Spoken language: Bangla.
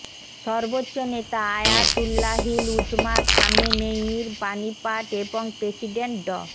সর্বোচ্চ নেতা আয়াতুল্লাহিল উজমা খামেনেয়ির বাণী পাঠ এবং প্রেসিডেন্ট ড